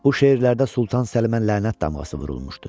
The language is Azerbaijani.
Bu şeirlərdə Sultan Səlimə lənət damğası vurulmuşdu.